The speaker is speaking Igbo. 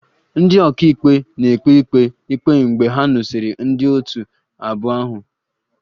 Ndị ọka ikpe na-ekpe ikpe ikpe mgbe ha nụsịrị ndị otu abụọ ahụ